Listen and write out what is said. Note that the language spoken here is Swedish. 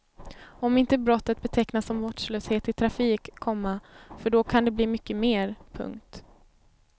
Om inte brottet betecknas som vårdslöshet i trafik, komma för då kan det bli mycket mer. punkt